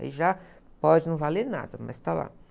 Aí já pode não valer nada, mas está lá.